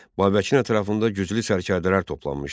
Babəkin ətrafında güclü sərkərdələr toplanmışdı.